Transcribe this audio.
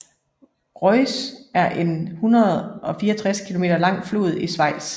Reuss er en 164 km lang flod i Schweiz